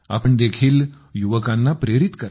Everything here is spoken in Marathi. आपण देखील युवकांना प्रेरित करा